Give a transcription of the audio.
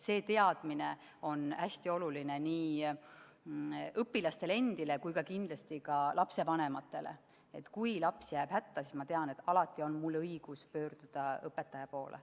See teadmine on hästi oluline nii õpilastele kui kindlasti ka lapsevanematele – kui laps jääb hätta, siis ma tean, et mul on alati õigus pöörduda õpetaja poole.